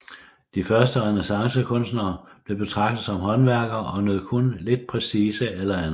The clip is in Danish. De første renæssancekunstnere blev betragtet som håndværkere og nød kun lidt prestige eller anerkendelse